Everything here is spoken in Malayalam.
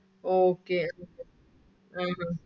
Okay Thank you